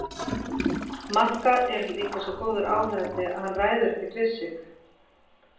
Magga er líka svo góður áheyrandi að hann ræður ekkert við sig.